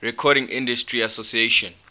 recording industry association